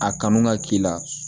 A kanu ka k'i la